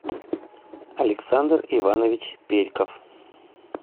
александр иванович перьков